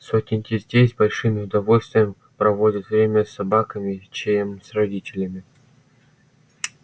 сотни детей с большим удовольствием проводят время с собаками чем с родителями